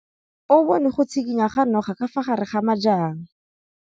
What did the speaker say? O bone go tshikinya ga noga ka fa gare ga majang.